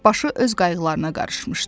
Başı öz qayğılarına qarışmışdı.